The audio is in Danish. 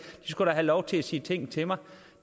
skulle da have lov til at sige ting til mig